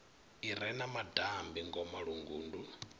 i re na madambi ngomalungundu